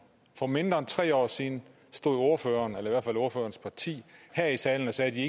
for mindre end tre år siden stod ordføreren eller i en fra ordførerens parti her i salen og sagde at de